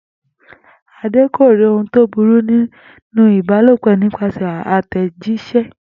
Àde kò rí ohun tó burú nínú ìbalòpò nípasè̩ àtè̩jís̩é